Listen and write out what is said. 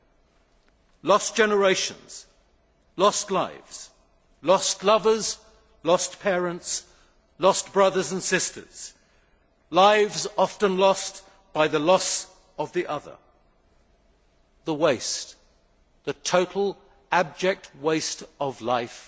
Think of the lost generations, lost lives, lost lovers, lost parents, lost brothers and sisters, lives often lost by the loss of the other. Think of the waste the total, abject waste of life